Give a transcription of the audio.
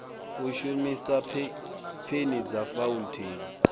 u shumisa peni dza fauntheini